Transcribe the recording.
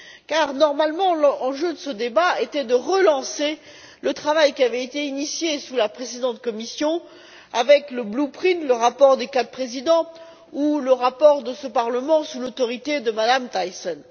En effet, normalement, l'enjeu de ce débat était de relancer le travail qui avait été entamé sous la précédente Commission avec le Blueprint le rapport des quatre présidents, ou le rapport de ce Parlement, sous l'autorité de Mme Thyssen.